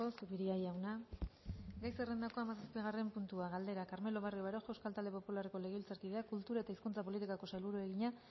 zupiria jauna gai zerrendako hamazazpigarren puntua galdera carmelo barrio baroja euskal talde popularreko legebiltzarkideak kultura eta hizkuntza politikako sailburuari egina